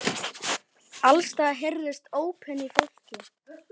Alls staðar heyrðust ópin í fólki.